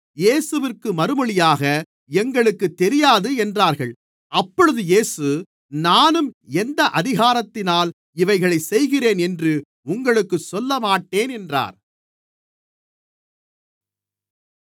இயேசுவிற்கு மறுமொழியாக எங்களுக்குத் தெரியாது என்றார்கள் அப்பொழுது இயேசு நானும் எந்த அதிகாரத்தினால் இவைகளைச் செய்கிறேன் என்று உங்களுக்குச் சொல்லமாட்டேன் என்றார்